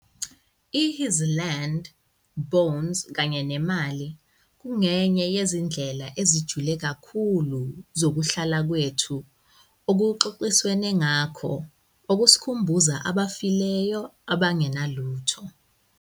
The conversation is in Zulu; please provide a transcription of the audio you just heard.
I-His 'Land, Bones kanye neMali' kungenye yezindlela ezijule kakhulu zokuhlala kwethu okuxoxiswene ngakho - okusikhumbuza 'abafileyo abangenalutho.'